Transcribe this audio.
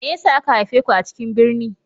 Me yasa aka haife ku a cikin birni?